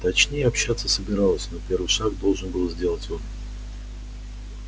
точнее общаться собиралась но первый шаг должен был сделать он